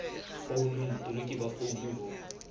founung botoloki ba founu bo